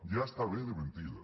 ja està bé de mentides